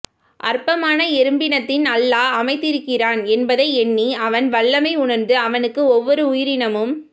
அற்பமான எறும்பினத்தில் அல்லாஹ் அமைத்திருக்கிறான் எனபதை எண்ணி அவன் வல்லமையை உணர்ந்து அவனுக்கு ஒவ்வொரு உயிரினமும்